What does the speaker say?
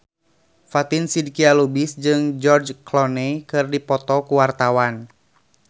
Fatin Shidqia Lubis jeung George Clooney keur dipoto ku wartawan